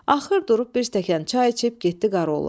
Axır durub bir stəkan çay içib getdi qaroğla.